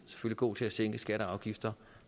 gå til at sænke skatter og afgifter